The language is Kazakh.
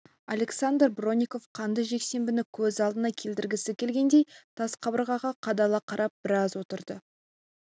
александр бронников қанды жексенбіні көз алдына келтіргісі келгендей тас қабырғаға қадала қарап біраз отырды